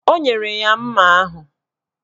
O nyere ya mma ahụ.